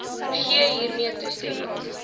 gee hiermee toestemming